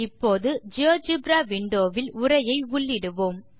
இப்போது GeoGebra window வில் உரையை உள்ளிடுவோம்